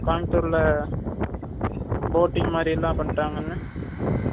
கோயம்புத்தூர்ல boating மாதிரி எல்லாம் பண்றாங்கன்னு